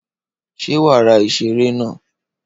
Ṣé wàá ra ìṣeré naa?